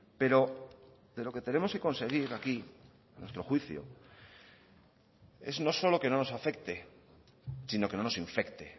pero de lo que tenemos que conseguir aquí a nuestro juicio es no solo que no nos afecte sino que no nos infecte